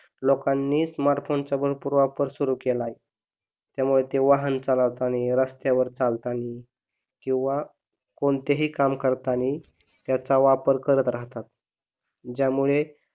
लोकांनी स्मार्टफोनचा भरपूर वापर सुरू केला आहे त्यामुळे ते वाहन चालावतानी, रस्त्यावर चालतानी किंवा कोणतेही काम करतानी त्याचा वापर करत राहतात ज्यामुळे